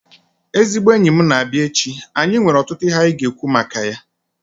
Ezigbo enyi m na-abịa echi, anyị nwere ọtụtụ ihe anyị ga-ekwu maka ya